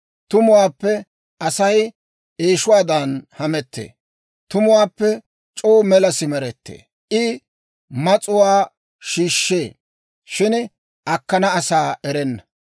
Tumuwaappe Asay eeshuwaadan hamettee; tumuwaappe c'oo mela simerettee. I mas'uwaa shiishshee; shin akkana asaa erenna.